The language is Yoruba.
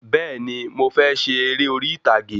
Bẹ́ẹ̀ni, Mo fẹ ṣe eré orí ìtàgé